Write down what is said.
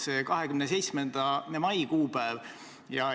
See 27. mai kuupäev.